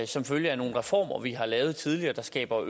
som følge af nogle reformer vi har lavet tidligere der skaber